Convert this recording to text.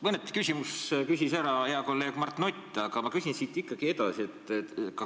Mõned küsimused küsis ära hea kolleeg Mart Nutt, aga ma küsin ikkagi edasi.